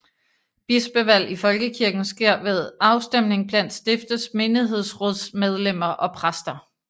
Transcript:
Bispevalg i Folkekirken sker ved afstemning blandt stiftets menighedsrådsmedlemmer og præster